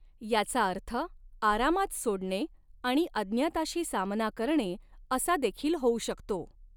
याचा अर्थ आरामात सोडणे आणि अज्ञाताशी सामना करणे असा देखील होऊ शकतो.